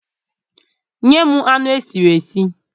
Nyem anu esiri esi!